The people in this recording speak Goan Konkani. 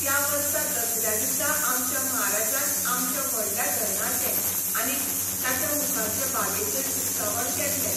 त्या वर्सा दसऱ्या दिसाआमच्या म्हाराजान आमच्या व्हडल्या धरणाचें आनीक ताच्या मुखारचे बागेचें उक्तावण केल्लें.